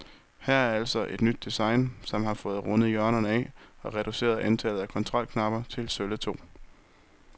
Her er altså et nyt design, som har fået rundet hjørnerne af og reduceret antallet af kontrolknapper til sølle to.